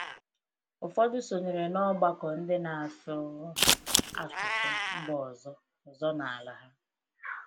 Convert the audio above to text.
Ụfọdụ sonyere n’ọgbakọ ndị na-asụ asụsụ mba ọzọ ọzọ n’ala ha.